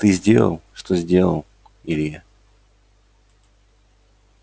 ты сделал что сделал илья